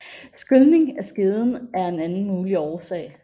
Skylning af skeden er en anden mulig årsag